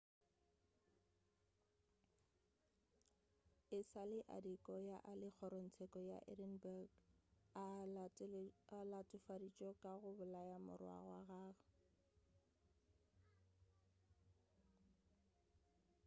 e sa le adekoya a le kgorongtseko ya edinburgh a latofaditšwe ka go bolaya morwa wa gagwe